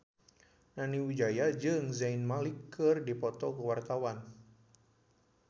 Nani Wijaya jeung Zayn Malik keur dipoto ku wartawan